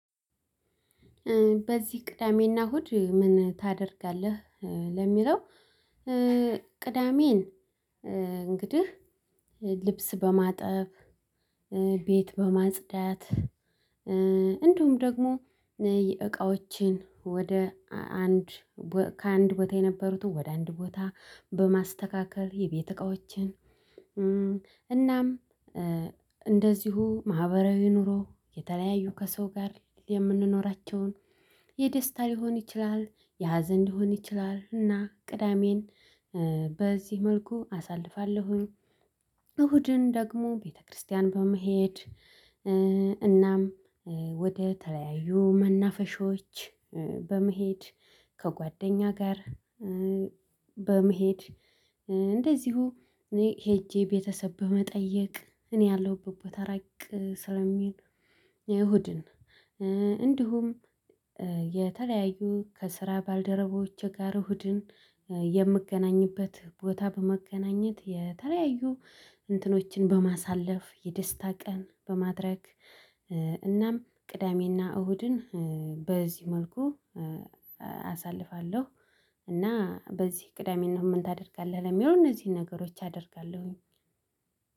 በዚህ ቅዳሜና እሁድ ምን ታደርጋለህ? ለሚለው ቅዳሜን እንግዲህ ልብስ በማጠብ ቤት በማጽዳት እንዲሁም ደግሞ እቃዎችን ወደ አንድ ከአንድ ቦታ የነበሩትን ወደ አንድ ቦታ በማስተካከል የቤት እቃዎችን። እናም እንደዚሁ ማህበራዊ ኑሮ የተለያዩ ከሰው ጋር የምንኖራቸውን የደስታ ሊሆን ይችላል የሀዘን ሊሆን ይችላል እና ቅዳሜን በዚህ መልኩ አሳልፋለሁኝ። እሁድን ደግሞ ቤተክርስቲያን በመሄድ እናም ወደ ተለያዩ መናፈሾች በመሄድ ከጓደኛ ጋር በመሄድ እንደዚሁ እኔ ሄጄ ቤተሰብ በመጠየቅ እኔ ያለሁበት ቦታ ራቅ ስለሚል የእሁድን እንዲሁም የተለያዩ ከስራ ባልደረቦቼ ጋር እሁድን የምገናኝበት ቦታ በመገናኘት የተለያዩ እንትኖችን በማሳለፍ የደስታ ቀን በማድረግ። እናም ቅዳሜና እሁድን በዚህ መልኩ አሳልፋለሁ። እና በዚህ ቅዳሜ እና እሁድ ምን ታደርጋለህ? ለሚለው እነዚህን ነገሮች አደርጋለሁኝ።